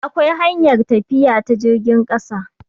akwai hanyar tafiya ta jirgin ƙasa